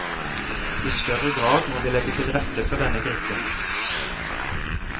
I større grad må vi legge til rette for denne gruppen.